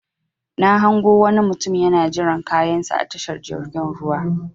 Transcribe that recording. Na hango wani mutum yana jiran kayan sa a tashar jirgin ruwa.